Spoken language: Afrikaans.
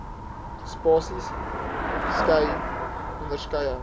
spasies skei onderskeie